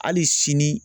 Hali sini